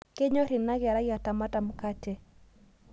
Kenyor anakerai atamata mkate